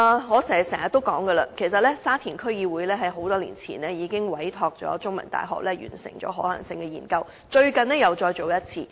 我經常說，沙田區議會在多年前已委託香港中文大學完成可行性研究，最近又再進行一次。